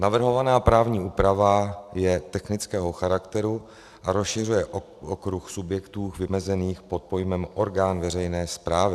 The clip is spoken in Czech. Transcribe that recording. Navrhovaná právní úprava je technického charakteru a rozšiřuje okruh subjektů vymezených pod pojmem orgán veřejné správy.